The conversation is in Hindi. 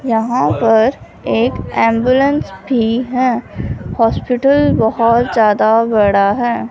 यहां पर एक एंबुलेंस भी हैं हॉस्पिटल बहोत ज्यादा बड़ा हैं।